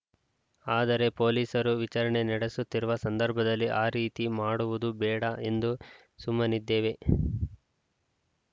ಆದರೆ ಪೊಲೀಸರು ವಿಚಾರಣೆ ನಡೆಸುತ್ತಿರುವ ಸಂದರ್ಭದಲ್ಲಿ ಆ ರೀತಿ ಮಾಡುವುದು ಬೇಡ ಎಂದು ಸುಮ್ಮನಿದ್ದೇವೆ